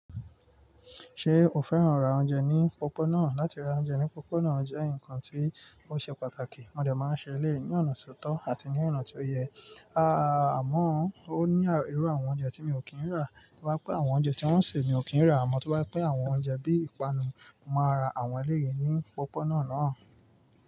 Ṣé o fẹ́ràn ra oúnjẹ ní pópó náà? Látí ra oúnjẹ ní pópó náà jẹ́ nkan tí ó ṣe pàtàkì. Mo dẹ̀ máa ń ṣe eléyìí ní ọ̀nà tó tọ́ àti ní ọ̀nà tí ó yẹ. Aá a, àmọ́ ó ní irú àwọn oúnjẹ tí mi ò kí ń rà. Tó bá jẹ́ pé àwọn oúnjẹ tí wọ́n ń ṣe mi ò kí ń rà, àmọ́ tí bá pé àwọn oúnjẹ bí ìpanu, màá ra wọ́n léyín ní pópó náà náà.